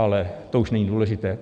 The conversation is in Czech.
Ale to už není důležité.